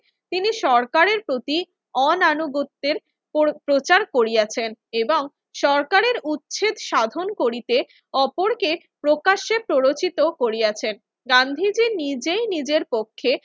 তিনি সরকারের প্রতি অনানুগত্যের পর~ প্রচার করিয়াছেন এবং সরকারের উচ্ছেদ সাধন করিতে অপরকে প্রকাশ্যে প্ররোচিত করিয়াছেন। গান্ধীজি নিজেই নিজের পক্ষে